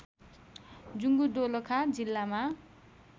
जुंगु दोलखा जिल्लामा